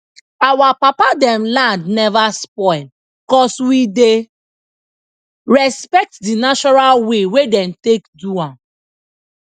our papa them land never spoil cuz we dey respect the natural way wey dem take do am